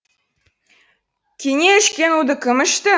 кене ішкен уды кім ішті